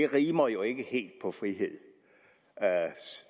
rimer jo ikke helt på ordet frihed